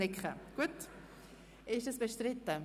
Ist der Vorstoss bestritten?